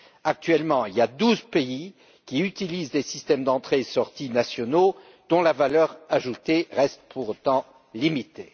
Actuellement, il y a douze pays qui utilisent des systèmes d'entrée sortie nationaux dont la valeur ajoutée reste pour autant limitée.